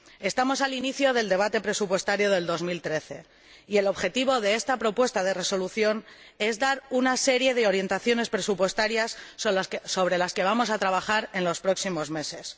Estamos al inicio del debate presupuestario del 2013 y el objetivo de esta propuesta de resolución es dar una serie de orientaciones presupuestarias sobre las que vamos a trabajar en los próximos meses.